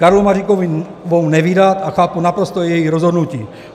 Karlu Maříkovou nevydat a chápu naprosto její rozhodnutí.